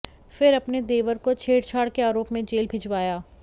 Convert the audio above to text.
फिर अपने देवर को छेड़छाड़ के आरोप में जेल भेजवाया